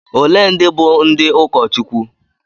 Ole ndị bụ ndị ụkọchukwu?